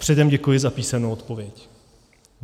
Předem děkuji za písemnou odpověď.